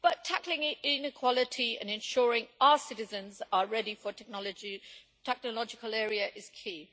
But tackling inequality and ensuring our citizens are ready for the technological area is key.